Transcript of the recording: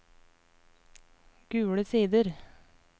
Gule Sider